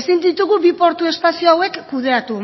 ezin ditugu bi portu espazio hauek kudeatu